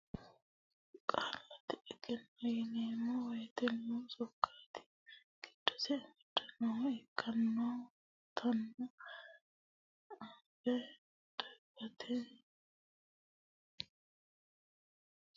Qaallate egenno yineemmo woyte lowo sokkati giddose amadanohu ikkinottano anfe dagate afisiisara borrotenni maareekkisonni gari injinoe togoore borreessine ilamate rosiisate jawaanto.